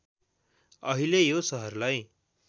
अहिले यो सहरलाई